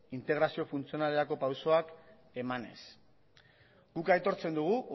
integrazio funtzionalerako pausuak emanez guk aitortzen dugu